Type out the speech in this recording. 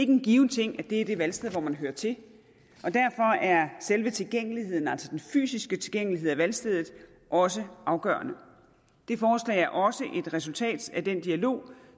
en given ting at det er det valgsted hvor man hører til og derfor er selve tilgængeligheden altså den fysiske tilgængelighed til valgstedet også afgørende det forslag er også et resultat af den dialog